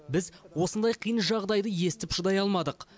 біз осындай қиын жағдайды естіп шыдай алмадық